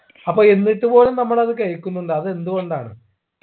അപ്പൊ എന്നിട്ട് പോലും നമ്മൾ അത് കഴിക്കുന്നുണ്ട് അത് എന്തുകൊണ്ടാണ്